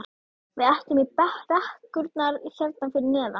Við ætlum í brekkurnar hérna fyrir neðan.